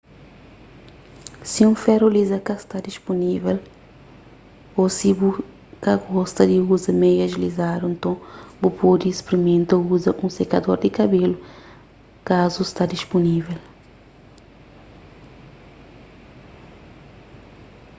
si un feru liza ka sta dispunível ô si bu ka gosta di uza meias lizadu nton bu pode sprimenta uza un sekador di kabelu kazu sta dispunível